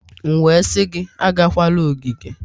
M wee sị gị agakwala ogige!